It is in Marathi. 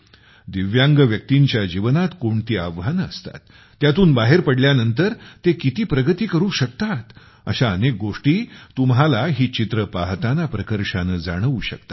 दिव्यांग व्यक्तींच्या जीवनात कोणती आव्हाने असतात त्यातून बाहेर पडल्यानंतर ते किती प्रगती करू शकतात अशा अनेक गोष्टी तुम्हाला ही चित्रे पाहताना प्रकर्षाने जाणवू शकतात